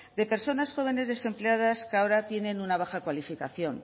de personas jóvenes desempleadas que ahora tienen una baja cualificación